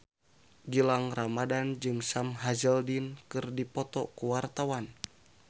Gilang Ramadan jeung Sam Hazeldine keur dipoto ku wartawan